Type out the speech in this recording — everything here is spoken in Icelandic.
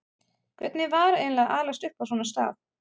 Hvernig var eiginlega að alast upp á svona stað?